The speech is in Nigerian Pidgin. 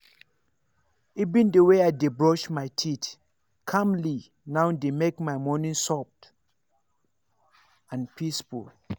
even the way i dey brush my teeth calmly now dey make my morning soft and peaceful.